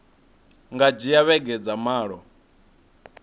nga dzhia vhege dza malo